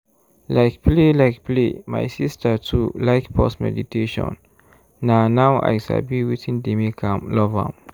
like play like play my sister too like pause meditation na now i sabi wetin dey make am love am.